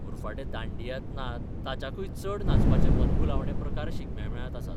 उरफाटें दांडियांत नात ताच्याकूय चड नाचपाचे मनभुलावणे प्रकार शिगम्या मेळांत आसात.